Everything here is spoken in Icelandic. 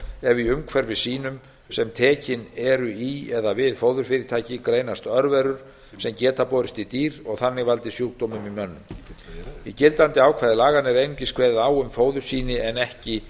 ef í umhverfissýnum sem tekin eru í eða við fóðurfyrirtæki greinast örverur sem geta borist í dýr og þannig valdið sjúkdómum í mönnum í gildandi ákvæði laganna er einungis kveðið á um fóðursýni en ekki